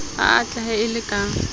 o atlehe e le ka